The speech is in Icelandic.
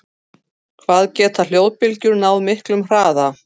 Hvað geta flóðbylgjur náð miklum hraða?